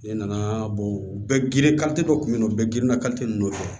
Ne nana u bɛɛ girin kari dɔ kun bɛ n bɛɛ geren